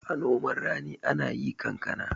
a noman rani ana yi kankana